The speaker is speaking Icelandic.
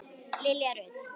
Lilja Rut.